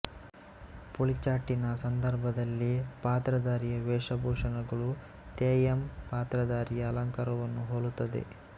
ಪುಳಿಚ್ಚಾಟಿನ ಸಂದರ್ಭದಲ್ಲಿ ಪಾತ್ರಧಾರಿಯ ವೇಷಭೂಷಣಗಳು ತೆಯ್ಯಂ ಪಾತ್ರಧಾರಿಯ ಅಲಂಕಾರವನ್ನು ಹೋಲುತ್ತದೆ